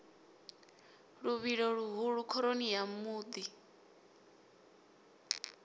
luvhilo luhulu khoroni ya muḓi